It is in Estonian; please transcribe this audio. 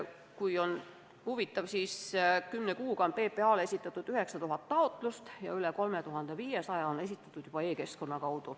Keda huvitab, siis olgu öeldud, et kümne kuuga on PPA-le esitatud 9000 taotlust ja neist üle 3500 on esitatud e-keskkonnas.